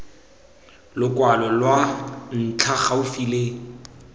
lokwalo lwa ntlha gaufi le